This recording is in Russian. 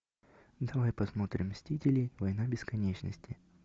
давай посмотрим мстители война бесконечности